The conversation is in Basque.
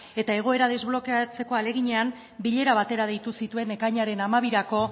eta egoera desblokeatzeko ahaleginean bilera batera deitu zituen ekainaren hamabirako